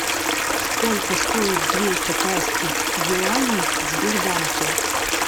сколько стоит две китайских юаней в сбербанке